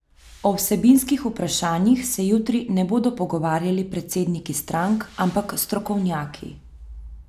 O vsebinskih vprašanjih se jutri ne bodo pogovarjali predsedniki strank, ampak strokovnjaki.